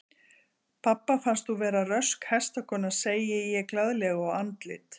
Pabba finnst þú vera rösk hestakona, segi ég glaðlega og andlit